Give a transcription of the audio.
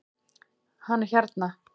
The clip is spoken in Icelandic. Hann er hérna